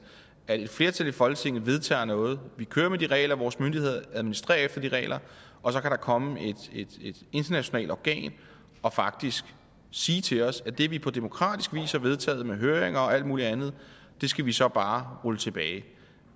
at et flertal i folketinget vedtager noget vi kører med de regler vores myndigheder administrerer efter de regler og så kan der komme et internationalt organ og faktisk sige til os at det vi på demokratisk vis har vedtaget med høringer og alt mulig andet skal vi så bare rulle tilbage